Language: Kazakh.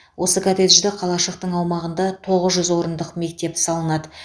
осы коттеджді қалашықтың аумағында тоғыз жүз орындық мектеп салынады